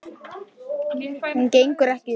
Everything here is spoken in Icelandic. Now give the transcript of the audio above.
Hún gengur ekki upp.